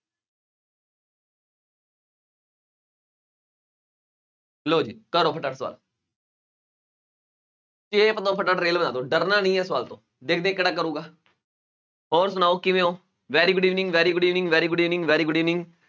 ਲਓ ਜੀ ਕਰੋ ਫਟਾਫਟ ਸਵਾਲ ਚੇਪ ਦਓ ਫਟਾਫਟ ਰੇਲ ਬਣਾ ਦਓ ਡਰਨਾ ਨੀ ਹੈ ਸਵਾਲ ਤੋਂ, ਦੇਖਦੇ ਹਾਂ ਕਿਹੜਾ ਕਰੇਗਾ ਹੋਰ ਸੁਣਾਓ ਕਿਵੇਂ ਹੋ very good evening, very good evening, very good evening, very good evening